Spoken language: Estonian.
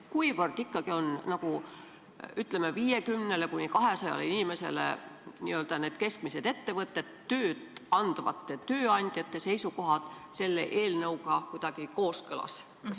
Kuivõrd ikkagi on tööandjate seisukohad, kui me räägime 50–200 inimesele tööd andvatest, n-ö nendest keskmistest ettevõtetest, selle eelnõuga kooskõlas?